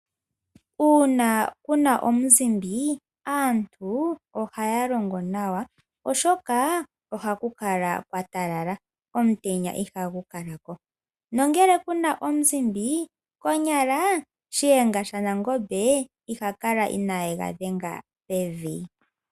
Uuna kuna omuzimbi, aantu ohaya longo nawa, oshoka ohaku kala kwatalala, omutenya ihagu kalako. Nongele kuna omuzimbi, konyala Shiyenga shanangombe iha kala ineegadhenga pevi.